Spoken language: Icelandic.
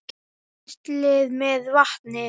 Penslið með vatni.